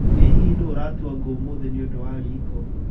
Ĩ hihi nũũ aratũra ngũ ũmũthĩ nĩũndũ wa riiko?